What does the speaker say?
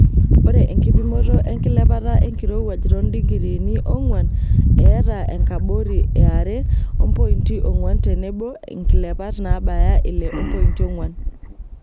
Ore enkipimoto enkilepata enkirowuaj toondikiriini ongwan eeta enkabori e are ompointi ongwan tenebo nkilepat nabaya ile ompointi ongwan.